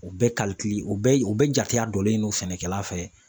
U bɛɛ u bɛɛ u bɛɛ jateya donnen don sɛnɛkɛla fɛ